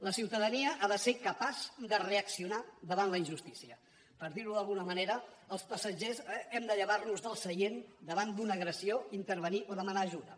la ciutadania ha de ser capaç de reaccionar davant la injustícia per dir ho d’alguna manera els passatgers hem de llevar nos del seient davant d’una agressió intervenir o demanar ajuda